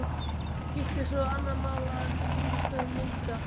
Hitt er svo annað mál að kringumstæður milda.